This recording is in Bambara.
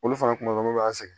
Olu fana kun bɛ an sɛgɛn